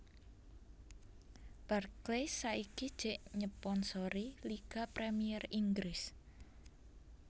Barclays saiki jek nyeponsori Liga Premier Inggris